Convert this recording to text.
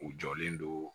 U jɔlen don